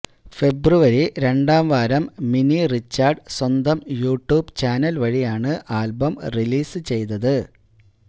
ഫെബ്രുവരി രണ്ടാം വാരം മിനി റിച്ചാർഡ് സ്വന്തം യു ട്യൂബ് ചാനൽ വഴിയാണ് ആൽബം റിലീസ് ചെയ്തത്